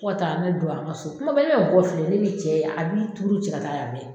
Fɔ ka taa ne don an ŋa so, kuma bɛ e bɛ bɔ filɛ ne ni cɛ a bi tuuru cɛ ka taa yan fɛ.